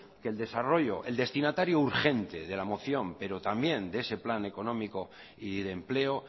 que el desarrollo el destinatario urgente de la moción pero también de ese plan económico y de empleo